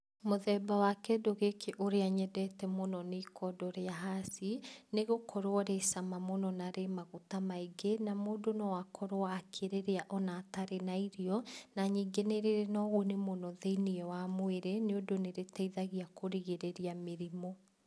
Mũthemba wa kĩndũ gĩkĩ ũrĩa nyendete mũno nĩ ikondo rĩa haci, nĩgũkorwo rĩ cama mũno na rĩ maguta maingĩ na mũndũ no akorwo akĩrĩrĩa, ona atarĩ na irio, na ningĩ nĩrĩrĩ na ũguni mũno thĩinĩ wa mwĩrĩ, nĩũndũ nĩrĩteithagia kũrigĩrĩria mĩrimũ.